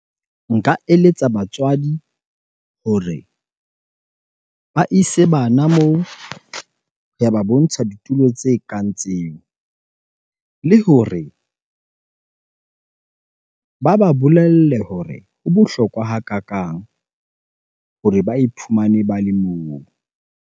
Nka eletsa batswadi hore ba ise bana moo, ya ba bontsha ditulo tse kang tseo. Le hore ba ba bolelle hore ho bohlokwa hakakang hore ba iphumane ba le moo.